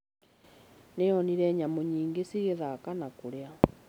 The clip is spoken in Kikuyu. Nĩ onire nyamũ nyingĩ cigĩthaka na kũrĩa.